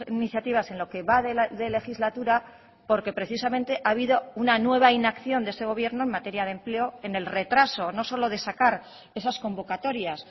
iniciativas en lo que va de legislatura porque precisamente ha habido una nueva inacción de este gobierno en materia de empleo en el retraso no solo de sacar esas convocatorias